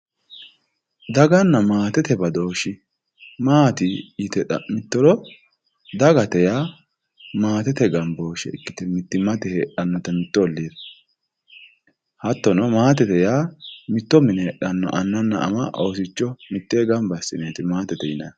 daganna maatete badooshshi maati yite xa'mittoro dagate yaa maatete gambooshshee ikkite mittimmate heedhannote mittu olliira hattono maatete yaa mitto mine heedhanno annanna ana oosicho mittee ganba assineeti maatete yinayiihu.